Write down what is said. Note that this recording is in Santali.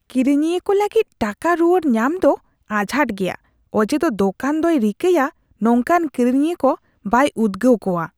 ᱠᱤᱨᱤᱧᱤᱭᱟᱹ ᱠᱚ ᱞᱟᱹᱜᱤᱫ ᱴᱟᱠᱟ ᱨᱩᱣᱟᱹᱲ ᱧᱟᱢ ᱫᱚ ᱟᱡᱷᱟᱴ ᱜᱮᱭᱟ ᱚᱡᱮᱫᱚ ᱫᱳᱠᱟᱱ ᱫᱚᱭ ᱨᱤᱠᱟᱹᱭᱟ ᱱᱚᱝᱠᱟᱱ ᱠᱤᱨᱤᱧᱤᱭᱟᱹ ᱠᱚ ᱵᱟᱭ ᱩᱫᱽᱜᱟᱹᱣ ᱠᱚᱣᱟ ᱾